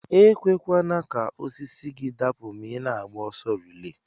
Ekwekwana ka osisi gi dapu ma ina agba ọsọ relay.